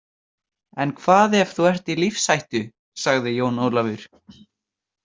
En hvað ef þú ert í lífshættu, sagði Jón Ólafur.